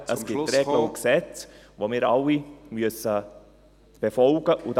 Es gibt Regeln und Gesetze, die wir alle befolgen müssen.